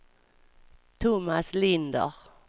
Tomas Linder